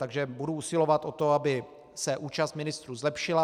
Takže budu usilovat o to, aby se účast ministrů zlepšila.